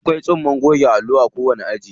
Akwai tsumma goge allo a kowanni aji.